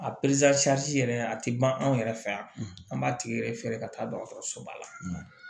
A yɛrɛ a ti ban anw yɛrɛ fɛ yan an b'a tigi yɛrɛ feere ka taa dɔgɔtɔrɔso ba la